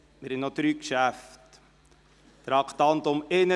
Es liegen noch drei Geschäfte vor.